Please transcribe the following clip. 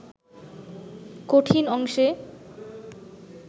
কঠিন অংশে